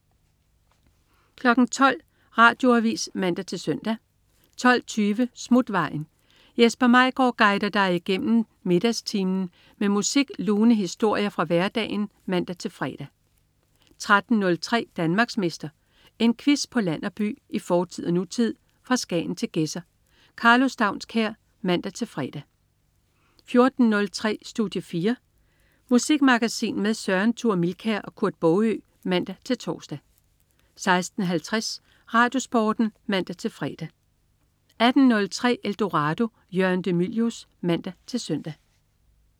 12.00 Radioavis (man-søn) 12.20 Smutvejen. Jesper Maigaard guider dig igennem middagstimen med musik og lune historier fra hverdagen (man-fre) 13.03 Danmarksmester. En quiz på land og by, i fortid og nutid, fra Skagen til Gedser. Karlo Staunskær (man-fre) 14.03 Studie 4. Musikmagasin med Søren Thure Milkær og Kurt Baagø (man-tors) 16.50 RadioSporten (man-fre) 18.03 Eldorado. Jørgen de Mylius (man-søn)